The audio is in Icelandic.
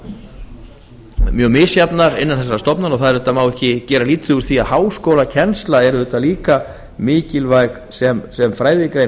eru mjög misjafnar innan þessara tveggja skóla og það má ekki gera lítið úr því að háskólakennsla er líka mikilvæg sem fræðigrein